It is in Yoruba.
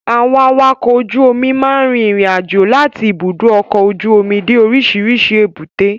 Àwọn Awakọ̀ ojú omi máa ń rin ìrìn àjò láti ibùdó ọkọ ojú omi dé orísìírísìí èbúté.